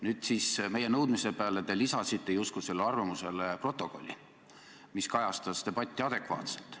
Nüüd siis meie nõudmise peale te lisasite justkui sellele arvamusele protokolli, mis kajastab debatti adekvaatselt.